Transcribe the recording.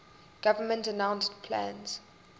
government announced plans